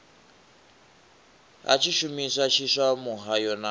ha tshishumisa tshiswa muhayo na